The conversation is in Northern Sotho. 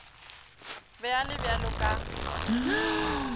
be a le bjalo ka